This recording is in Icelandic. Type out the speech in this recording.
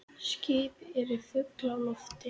Skip eru full af lofti